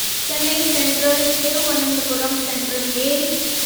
Chennai Central Thiruvananthapuram Central mail